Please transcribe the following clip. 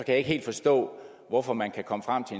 jeg ikke helt forstå hvorfor man kan komme frem til